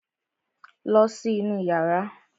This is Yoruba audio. Lọ sí inú yàrá!